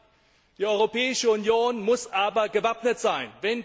3 Die Europäische Union muss gewappnet sein.